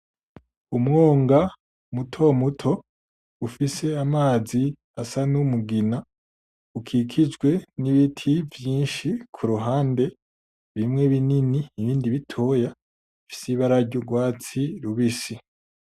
umwonga mutomuto ufise amazi asa numugina ukikijwe nibiti vyishi kuruhande bimwe binini nibitoya bifise ibara ryurwatsi rubisi